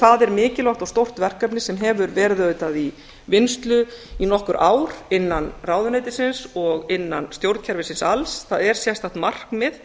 það er mikilvægt og stórt verkefni sem hefur verið auðvitað í vinnslu í nokkur ár innan ráðuneytisins og innan stjórnkerfisins alls það er sérstakt markmið